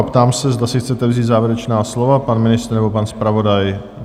A ptám se, zda si chcete vzít závěrečná slova, pan ministr nebo pan zpravodaj?